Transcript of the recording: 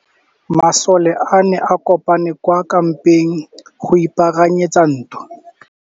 Masole a ne a kopane kwa kampeng go ipaakanyetsa ntwa.